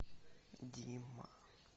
дима